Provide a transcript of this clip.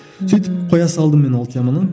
сөйтіп қоя салдым мен ол теманы